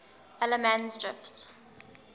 allemansdrift